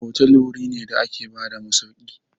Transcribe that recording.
hotel wuri ne da ke bada masauki.